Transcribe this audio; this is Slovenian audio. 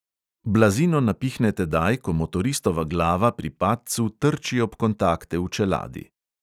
Blazino napihne tedaj, ko motoristova glava pri padcu trči ob kontakte v čeladi.